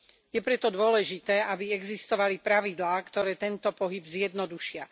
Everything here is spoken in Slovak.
Je preto dôležité, aby existovali pravidlá, ktoré tento pohyb zjednodušia.